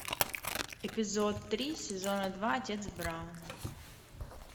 эпизод три сезона два отец браун